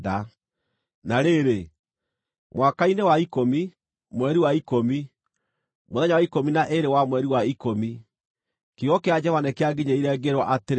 Na rĩrĩ, mwaka-inĩ wa ikũmi, mweri wa ikũmi, mũthenya wa ikũmi na ĩĩrĩ wa mweri wa ikũmi, kiugo kĩa Jehova nĩkĩanginyĩrĩire, ngĩĩrwo atĩrĩ: